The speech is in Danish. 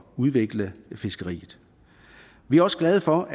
udvikle fiskeriet vi er også glade for